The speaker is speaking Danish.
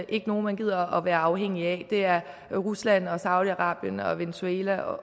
ikke nogen man gider at være afhængige af det er rusland saudi arabien venezuela